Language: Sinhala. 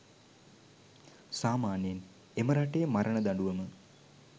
සාමාන්‍යයෙන් එම රටේ මරණ දඬුවම